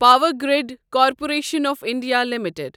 power grid corporation of India limited